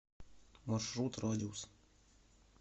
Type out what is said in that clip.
маршрут радиус